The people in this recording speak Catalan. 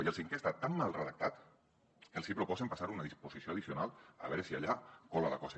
i el cinquè està tan mal redactat que els hi proposen passar ho a una disposició addicional a veure si allà cola la cosa